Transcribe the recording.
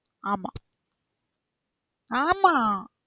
ஆமா ஆமா.